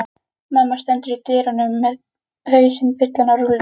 Mamma stendur í dyrunum með hausinn fullan af rúllum.